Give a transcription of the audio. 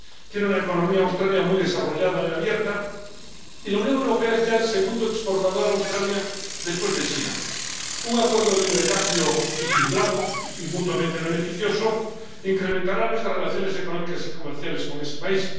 Australia tiene una economía muy desarrollada y abierta, y la Unión Europea es ya el segundo exportador a Australia después de China. Un acuerdo de libre comercio equilibrado y mutuamente beneficioso incrementará nuestras relaciones económicas y comerciales con ese país.